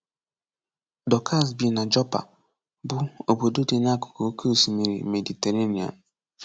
Dorcas bi na Jọpa, bụ obodo dị n’akụkụ Oke Osimiri Mediterenian.